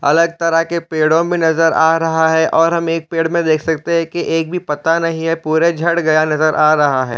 अलग तरह के पेड़ों में नज़र आ रहा है और हम एक पेड़ में देख सकते है कि एक भी पता नहीं है पूरे झड़ गया नज़र आ रहा हैं।